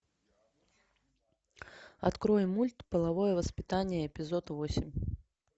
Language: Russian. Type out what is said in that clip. открой мульт половое воспитание эпизод восемь